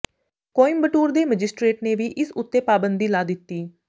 ਕੋਇਮਬਟੂਰ ਦੇ ਮਜਿਸਟਰੇਟ ਨੇ ਵੀ ਇਸ ਉੱਤੇ ਪਾਬੰਦੀ ਲਾ ਦਿੱਤੀ